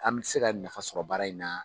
An bɛ se ka nafa sɔrɔ baara in na